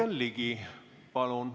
Jürgen Ligi, palun!